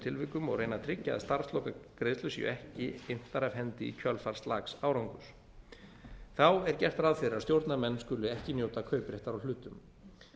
tilvikum og reyna að tryggja að starfslokagreiðslur séu ekki inntar af hendi í kjölfar slaks árangurs þá er gert ráð fyrir að stjórnarmenn skuli ekki njóta kaupréttar á hlutum